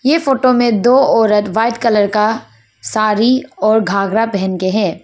यह फोटो में दो औरत व्हाइट कलर का साड़ी और घाघरा पहन के हैं।